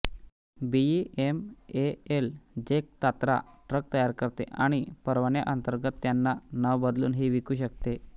BEML झेक Tatra truck तयार करते आणि परवान्याअंतर्गत त्यांना नाव बदलून ही विकू शकते